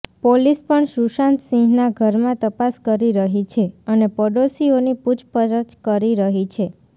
police પણ સુશાંત સિંહનાં ઘરમાં તપાસ કરી રહી છે અને પાડોશીઓની પૂછપરછ કરી રહી છે